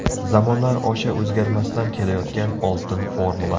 Zamonlar osha o‘zgarmasdan kelayotgan oltin formula.